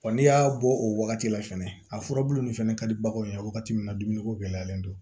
n'i y'a bɔ o wagati la fɛnɛ a furabulu nin fɛnɛ ka di baganw ye wagati min na dumuniko gɛlɛyalen don